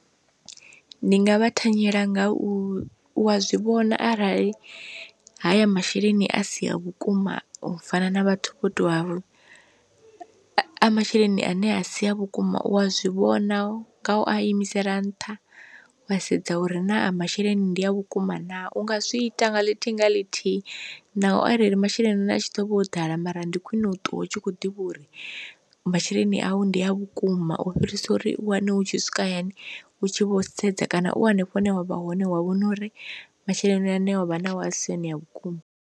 Ndi nga vha thanyela nga u u a zwivhona arali haya masheleni a si a vhukuma u fana na vhathu vho tou a masheleni ane a si a vhukuma u a zwivhona nga u a imisela nṱha wa sedza uri naa masheleni ndi a vhukuma naa, u nga zwi ita nga ḽithihi nga ḽithihi naho arali masheleni ane a tshi ḓovha o ḓala mara ndi khwine u ṱuwa u tshi kho ḓivha uri masheleni awu ndi a vhukuma u fhirisa uri u wane hu tshi swika hayani u tshi vho sedza kana u hanefho hune wavha hone wa vhona uri masheleni ane wavha nao a si one a vhukuma.